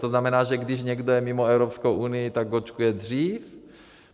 To znamená, že když někdo je mimo Evropskou Unii, tak očkuje dříve?